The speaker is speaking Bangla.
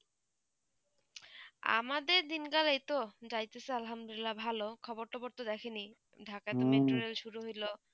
আমাদের দিনকাল এইতো যাইতেছেআলহামদুলিল্লাহ ভালো, খবর টবর তো দেখেনি ঢাকায় metro rail শুরু হইল